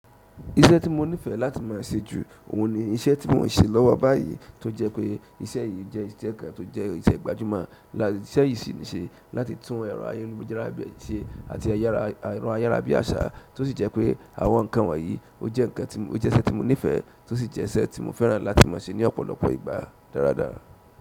Iṣẹ́ tí mo nífẹ̀ẹ́ láti má a ṣe ju òhun ni iṣẹ́ tí mò ń ṣe lọ́wọ́ báyìí tó jẹ́ pé iṣẹ́ yìí jẹ́ ìṣe kan tó jẹ́ ìṣẹ́ gbajúmọ̀. Ìṣẹ́ yìí sì ń ṣe láti tún ẹrọ ayélujára bí i ṣe àti ẹrọ ayárábiàsà tó sì jẹ́ pé àwọn nǹkan wọ̀nyí ó jẹ́ nǹkan tí mo, ó jẹ́ iṣẹ́ tí mo nífẹ̀ẹ́ tó sì jẹ́ iṣẹ́ tí mo fẹ́ràn láti má a ṣe ní ọ̀pọ̀lọpọ̀ ìgbà dáradára.